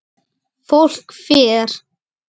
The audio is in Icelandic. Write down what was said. Fólk fer.